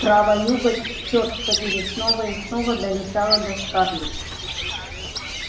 права юга черт побери снова и снова долетало до скарлетт